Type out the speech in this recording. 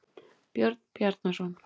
Björn Bjarnarson.